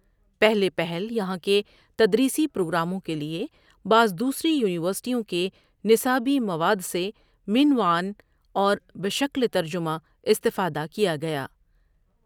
پہلے پہل یہاں کے تدریسی پروگراموں کےلیے بعض دوسری یونیورسٹیوں کے نصابی مواد سے من وعن اور بشکل ترجمه استفاده کیا گیا۔